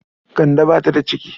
Kande ba ta da ciki.